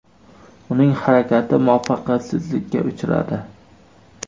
Uning harakati muvaffaqiyatsizlikka uchradi.